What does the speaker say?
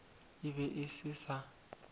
e be e se sa